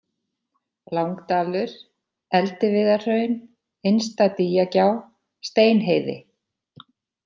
Langdalur, Eldiviðarhraun, Innsta-Dýjagjá, Steinheiði